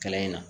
Kalan in na